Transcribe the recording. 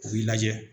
U b'i lajɛ